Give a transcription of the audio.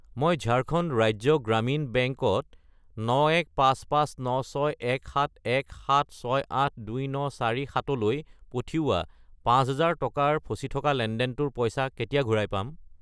মই ঝাৰখণ্ড ৰাজ্য গ্ৰামীণ বেংক ত 9155961717682947 লৈ পঠিওৱা 5000 টকাৰ ফচি থকা লেনদেনটোৰ পইচা কেতিয়া ঘূৰাই পাম?